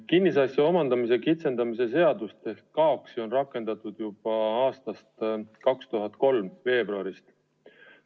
Kinnisasja omandamise kitsendamise seadust ehk KAOKS-i on rakendatud juba 2003. aasta veebruarist.